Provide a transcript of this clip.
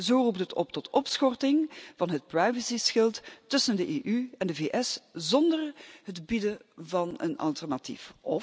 Zo roept zij op tot opschorting van het privacyschild tussen de EU en de VS zonder het bieden van een alternatief.